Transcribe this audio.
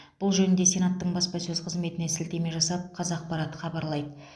бұл жөнінде сенаттың баспасөз қызметіне сілтеме жасап қазақпарат хабарлайды